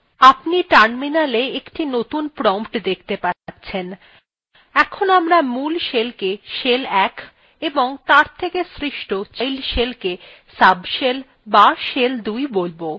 আপনি terminal একটি নতুন prompt দেখতে পাবেন এখন আমরা মূল shellকে shell ১ এবং তার থেকে সৃষ্ট child শেলকে subshell অথবা shell ২ বোলব